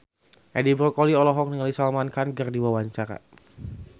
Edi Brokoli olohok ningali Salman Khan keur diwawancara